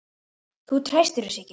Þú treystir þessu ekki?